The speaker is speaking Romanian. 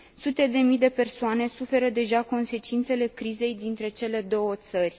Sute de mii de persoane suferă deja consecințele crizei dintre cele două țări.